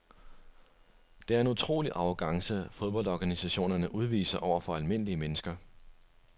Det er en utrolig arrogance fodboldorganisationerne udviser over for almindelige mennesker.